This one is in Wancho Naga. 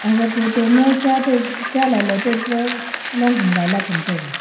aga photo ma cha tai cha lailai tai pa long ham gaila cham taiga.